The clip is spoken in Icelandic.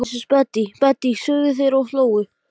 Hann neyddi sjálfan sig til að horfa til hafs.